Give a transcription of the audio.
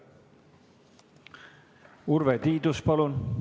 Urve Tiidus, palun!